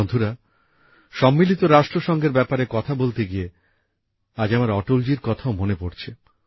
বন্ধুরা রাষ্ট্রসংঘের ব্যাপারে কথা বলতে গিয়ে আজ আমার অটলজির কথাও মনে পড়ছে